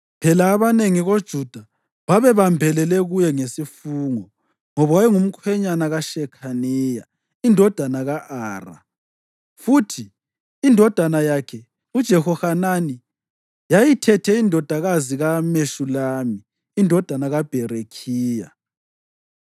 Phela abanengi koJuda babebambelele kuye ngesifungo, ngoba wayengumkhwenyana kaShekhaniya indodana ka-Ara, futhi indodana yakhe uJehohanani yayithethe indodakazi kaMeshulami indodana kaBherekhiya.